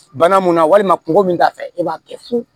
Bana mun na walima kungo min t'a fɛ e b'a kɛ fu